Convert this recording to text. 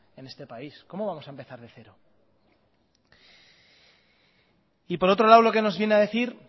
en este país cómo vamos a empezar de cero y por otro lado lo que nos viene a decir